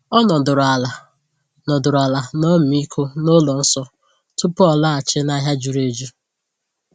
O nọdụrụ ala nọdụrụ ala n’ọmịiko n'ụlọ nsọ tupu ọ laghachi n’ahịa juru eju.